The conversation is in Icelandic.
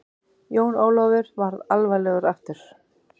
Jón Ólafur varð alvarlegur aftur.